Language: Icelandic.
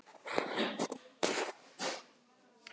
Og hvernig fagnaði hann?